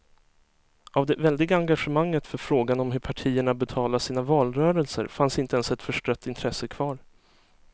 Av det väldiga engagemanget för frågan om hur partierna betalade sina valrörelser fanns inte ens ett förstrött intresse kvar.